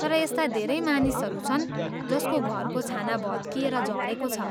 तर यस्ता धेरै मानिसहरू छन् जसको घरको छाना भत्किएर झरेको छ।